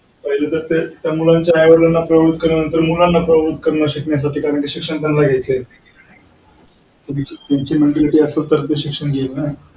पहिले तर त्या मुलांच्या आई वडिल्लांना प्रवृत्त करण्यानंतर मुलांना प्रवृत्त करण. शिकण्याचा decision त्यांना घ्यायचा आहे. त्यांची असेल तर ते शिक्षण घेईलनं.